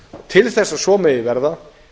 til þess að svo megi verða